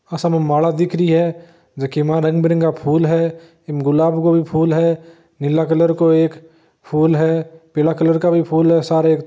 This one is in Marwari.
आ सामे माला दिख रही है जकी में रंग बिरंगा फुल है इम गुलाब को भी फूल है नीला कलर को एक फुल है पीला कलर का भी फूल है सारे एक --